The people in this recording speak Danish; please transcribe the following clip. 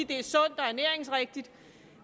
det er sundt og ernæringsrigtigt